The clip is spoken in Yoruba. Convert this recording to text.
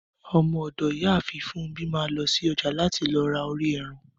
Ọmọ ọ̀dọ̀ Ìyáàfin Funmbi máa lọ́ ṣí ọja láti lọ ra orí ẹran.